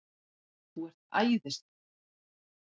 ÞÚ ERT ÆÐISLEG!